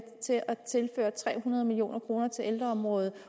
til at tilføre tre hundrede million kroner til ældreområdet